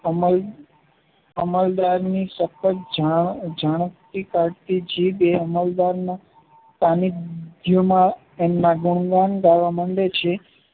અમલ દ્વારની સખત જાણ જીભે માંડે છે